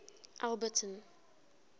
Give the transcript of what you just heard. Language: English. alberton